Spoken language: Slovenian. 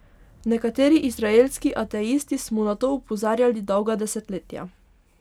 Nekateri izraelski ateisti smo na to opozarjali dolga desetletja.